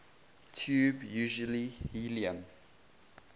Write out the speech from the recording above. tube usually helium